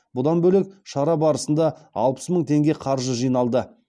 бұдан бөлек шара барысында алпыс мың теңге қаржы жиналды